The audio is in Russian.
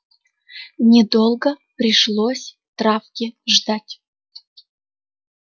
недолго пришлось травке ждать